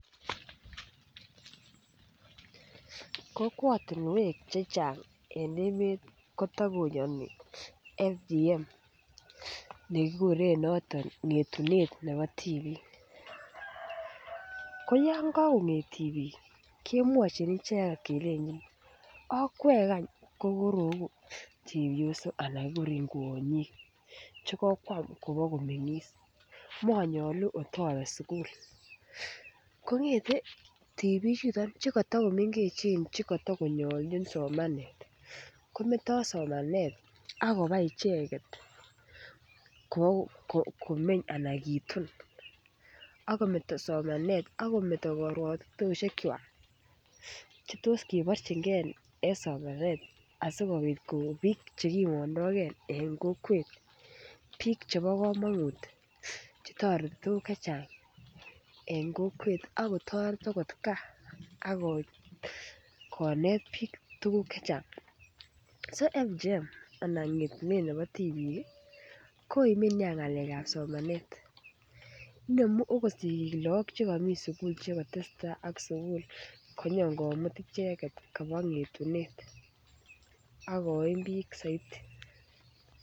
kokwatinwek Che Chang kotakoyani FGM nekikuren noton ngetunet nebo tibik koyon kokonget tibik kemwochin icheget okweek any kokoroigu chepyosok Che kokwam kobokomengis monyoluu kotobe sukul kongete tibichuto Che katakomengechen Che katakonyolu en somanet kometo somanet ak koba kitun ak kometo somanet ak kometo karuatitet Che tos kiborchinge en somanet asikobit koik bik Che kimondogei en kokwet bik Che bo komonut Che toreti tuguk Che Chang en kokwet ak kotoret agot gaa konet bik tuguk Che Chang so FGM anan ngetunet nebo tibik koime Nia ngalek ab somanet ak inemu okot lagok Che kami sukul Che ko to tesetai ak sukul ak konyo komut ichek koba ngetunet ak koim bik soiti